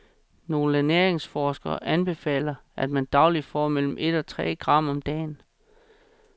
Nogle ernæringsforskere anbefaler, at man dagligt får mellem et og tre gram om dagen.